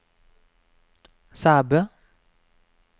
Sæbø